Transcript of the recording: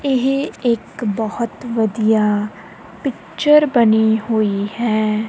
ਇਹ ਇੱਕ ਬਹੁਤ ਵਧੀਆ ਪਿਕਚਰ ਬਣੀ ਹੋਈ ਹੈ।